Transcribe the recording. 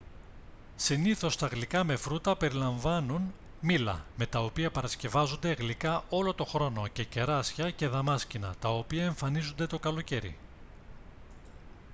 συνήθως τα γλυκά με φρούτα περιλαμβάνουν μήλα με τα οποία παρασκευάζονται γλυκά όλο τον χρόνο και κεράσια και δαμάσκηνα τα οποία εμφανίζονται το καλοκαίρι